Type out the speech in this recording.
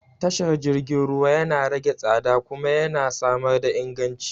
Tashar jirgin ruwa yana rage tsada kuma yana samar da inganci.